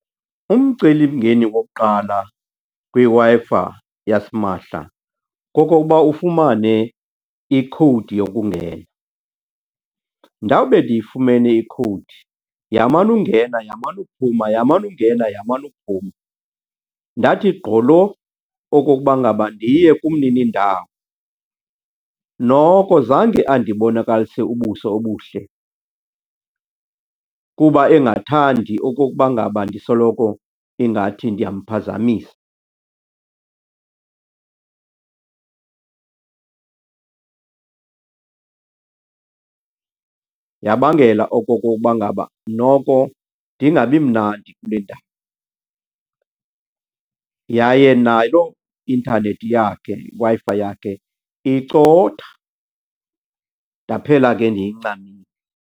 Umcelimngeni wokuqala kwiWi-Fi yasimahla kokokuba ufumane ikhowudi yokungena. Ndawube ndiyifumene ikhowudi yamana ungena, yamana uphuma, yamana ungena, yamana uphuma, ndathi gqolo okokuba ngaba ndiye kumnini indawo. Noko zange andibonakalise ubuso obuhle kuba engathandi okokuba ngaba ndisoloko ingathi ndiyamphazamisa, yabangela okokokuba ngaba noko ndingabi mnandi kule . Yaye naloo intanethi yakhe, Wi-Fi yakhe, icotha ndaphela ke ndiyincamile.